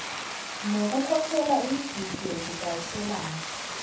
nokukhokhela imigidi yokudayiselana